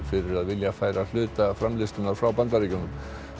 fyrir að vilja færa hluta framleiðslunnar frá Bandaríkjunum